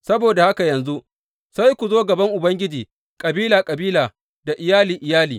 Saboda haka yanzu sai ku zo gaban Ubangiji kabila kabila da iyali iyali.